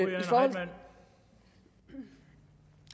det